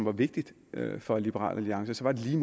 er vigtigt for liberal alliance er lige